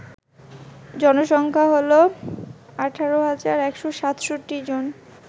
জনসংখ্যা হল ১৮১৬৭ জন